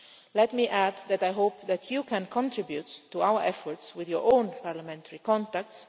Let me add that I hope that you can contribute to our efforts with your own parliamentary contacts.